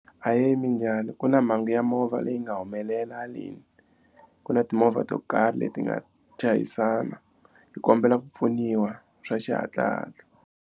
Ahee minjhani ku na mhangu ya movha leyi nga humelela haleni ku na timovha to karhi leti nga chayisana hi kombela ku pfuniwa swa xihatlahatla.